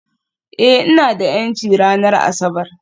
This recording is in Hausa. Ee, ina da 'yanci ranar Asabar